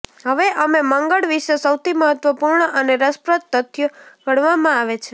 હવે અમે મંગળ વિશે સૌથી મહત્વપૂર્ણ અને રસપ્રદ તથ્યો ગણવામાં આવે છે